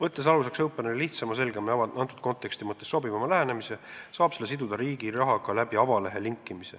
Openeri lähenemine on lihtsam, selgem ja antud kontekstis sobivam ning selle saab avalehe linkimise kaudu siduda Riigiraha portaaliga.